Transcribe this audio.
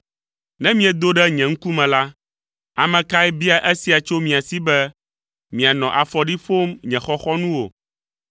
Ne miedo ɖe nye ŋkume la, ame kae bia esia tso mia si be, mianɔ afɔɖi ƒom nye xɔxɔnuwo?